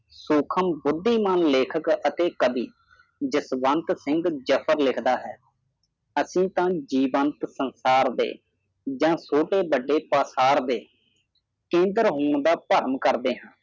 ਸੂਖਮ ਬੁੱਧੀਮਾਨ ਲੇਖਕ ਅਤੇ ਕਵੀ ਜਸਵੰਤ ਸਿੰਘ ਜਾਫਰ ਲਿਖਦਾ ਹੈ ਅਸੀਂ ਤਾ ਜੀਵੰਤ ਸੰਸਾਰ ਦੇ ਯ ਛੋਟੇ ਵੱਡੇ ਤੋਥਾਰ ਦੇ ਕਿੰਗਰ ਹੋਣ ਦਾ ਦਰਾਮ ਕਰਦੇ ਹਾਂ